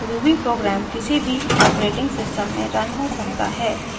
ruby program किसी भी operating system में रन हो सकता है